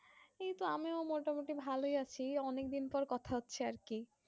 এই তো আমিও মোটামুটি ভালোই আছি অনেক দিন পর কথা হচ্ছে আর কি